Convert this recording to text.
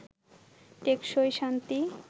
টেকসই শান্তি